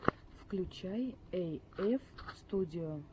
включи эйэф студио